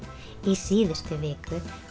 síðustu viku